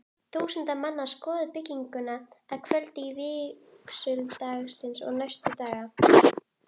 Þúsundir manna skoðuðu bygginguna að kvöldi vígsludagsins og næstu daga.